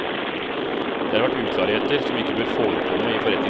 Det har vært uklarheter som ikke bør forekomme i forretningsforhold.